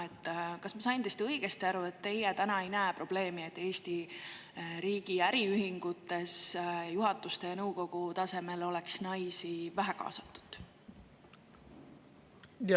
Kas ma sain teist õigesti aru, et teie täna ei näe probleemi, et Eesti riigi äriühingutes juhatuse ja nõukogu tasemel oleks naisi vähe kaasatud?